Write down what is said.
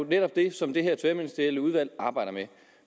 netop det som det her tværministerielle udvalg arbejder med